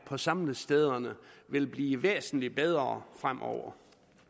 på samlestederne vil blive væsentlig bedre fremover